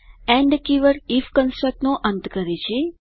and keyword IF કન્સટ્રકનો અંત કરે છે